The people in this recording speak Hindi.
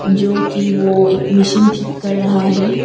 जो कि वो एक मीशीन ठीक कर रहा है।